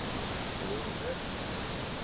Við eigum vel að geta gert það.